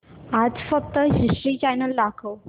आज फक्त history channel दाखव